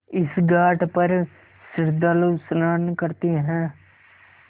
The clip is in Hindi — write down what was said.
इस घाट पर श्रद्धालु स्नान करते हैं